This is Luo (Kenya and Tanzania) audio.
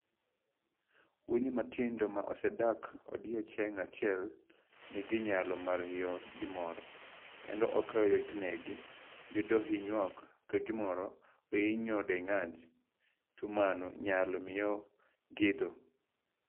Winy matindo ma osedak odiechieng' achiel nigi nyalo mar hinyo gimoro, kendo ok yotnegi yudo hinyruok ka gimoro ohinyo dendgi, to mano nyalo miyo githo.